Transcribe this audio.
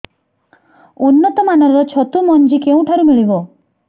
ଉନ୍ନତ ମାନର ଛତୁ ମଞ୍ଜି କେଉଁ ଠାରୁ ମିଳିବ